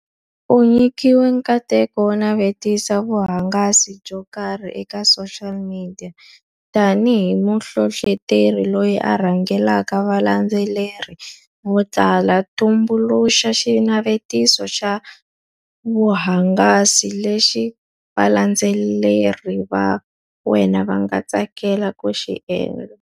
U nyikiwe nkateko wo navetisa vuhangasi byo karhi eka social media. Tanihi muhlohloteri loyi a rhangelaka valandzeleri vo tala, tumbuluxa xinavetiso xa vuhungasi lexi valandzeleri va wena va nga tsakela ku xi endla.